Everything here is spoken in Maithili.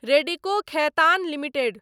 रेडिको खेतान लिमिटेड